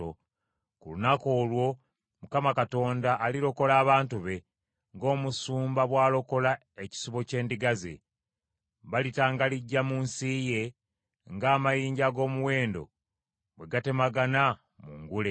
Ku lunaku olwo Mukama Katonda alirokola abantu be ng’omusumba bw’alokola ekisibo ky’endiga ze. Balitangalijja mu nsi ye, ng’amayinja ag’omuwendo bwe gatemagana mu ngule.